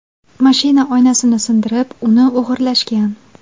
Mashina oynasini sindirib, uni o‘g‘irlashgan.